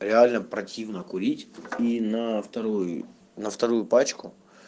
реально противно курить и на вторую на вторую пачку